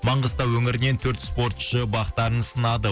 маңғыстау өңірінен төрт спортшы бақтарын сынады